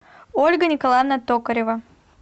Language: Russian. ольга николаевна токарева